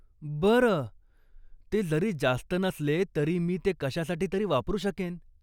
बरं, ते जरी जास्त नसले तरी मी ते कशासाठी तरी वापरू शकेन.